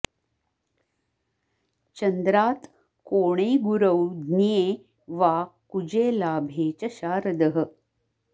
चन्द्रात् कोणे गुरौ ज्ञे वा कुजे लाभे च शारदः